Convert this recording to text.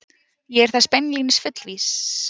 Ég er þess beinlínis fullviss